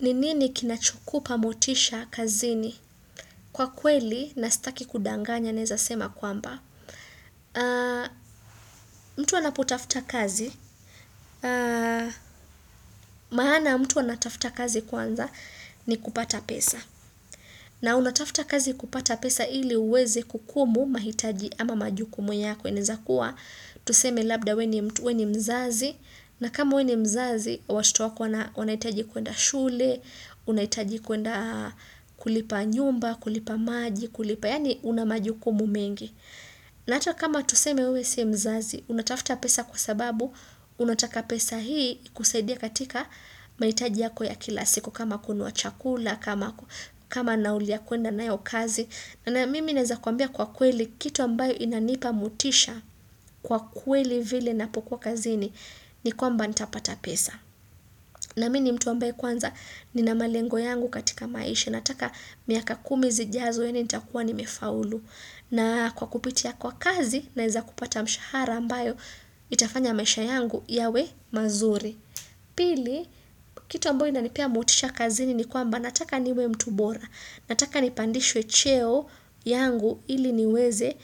Ni nini kinachokupa motisha kazini kwa kweli na staki kudanganya naweza sema kwamba. Mtu anapo tafuta kazi. Maana mtu anatafuta kazi kwanza ni kupata pesa. Na unatafuta kazi kupata pesa ili uwezi kukumu mahitaji ama majukumu yako inaweza kuwa. Tuseme labda wewe ni mzazi. Na kama wewe ni mzazi, watoto wako wanahitaji kuenda shule, unahitaji kuenda kulipa nyumba, kulipa maji, kulipa yani unamajukumu mengi. Na hata kama tuseme wewe si mzazi, unatafuta pesa kwa sababu, unataka pesa hii kusaidia katika mahitaji yako ya kila siku kama kununuabchakula, kama naulia kwenda na yo kazi. Na na mimi naweza kuambia kwa kweli, kitu ambayo inanipa motisha kwa kweli vile napokuwa kazini, ni kwamba nitapata pesa. Na mii ni mtu ambayo kwanza, ninamalengo yangu katika maisha, nataka miaka kumi zijazo nita kuwa ni mefaulu. Na kwa kupitia kwa kazi, naweza kupata mshahara ambayo, itafanya maisha yangu yawe mazuri. Pili, kitu ambayo ina nipa motisha kazini ni kwamba nataka niwe mtu bora. Nataka nipandishwe cheo yangu ili niweze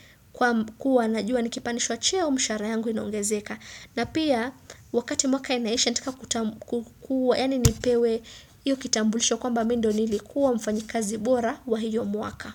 kuwa na jua nikipandishwa cheo mshara yangu inongezeka. Na pia wakati mwaka inaisha nataka kutambu yani nipewe iyo kitambulisho kwamba mii ndo nilikuwa mfanyi kazi bora wa hiyo mwaka.